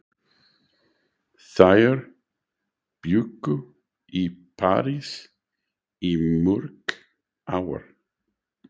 Þær bjuggu í París í mörg ár.